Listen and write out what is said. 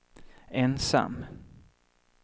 ensam